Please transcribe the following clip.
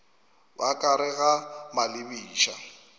ba ka gare ga malebiša